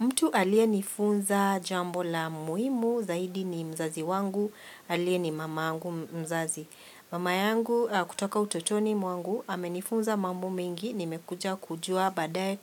Mtu aliyenifunza jambo la muhimu zaidi ni mzazi wangu aliye ni mamangu mzazi. Mama yangu kutoka utotoni mwangu amenifunza mambo mengi nimekuja kujua baadaye